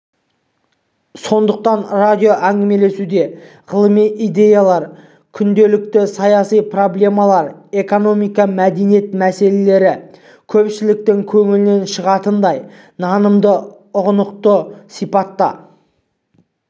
сондықтан радио әңгімелесуде ғылыми идеялар күрделі саяси проблемалар экономика мәдениет мәселелері көпшіліктің көңілінен шығатындай нанымды ұғынықты сипатта